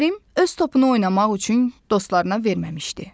Kərim öz topunu oynamaq üçün dostlarına verməmişdi.